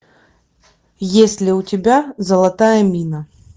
есть ли у тебя золотая мина